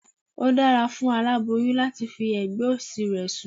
Ó dára fún aláboyún láti fi ẹ̀gbẹ́ òsì rẹ̀ sùn